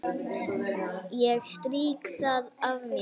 Ég strýk það af mér.